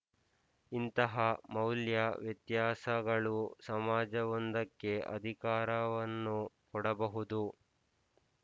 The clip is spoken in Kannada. ಇಂತಹ ಮೌಲ್ಯ ವ್ಯತ್ಯಾಸಗಳು ಸಮಾಜವೊಂದಕ್ಕೆ ಅಧಿಕಾರವನ್ನು ಕೊಡಬಹುದು